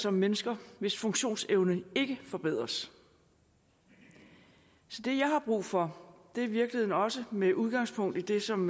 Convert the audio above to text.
om mennesker hvis funktionsevne ikke forbedres så det jeg har brug for er i virkeligheden også med udgangspunkt i det som